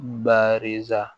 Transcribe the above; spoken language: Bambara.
Baari sa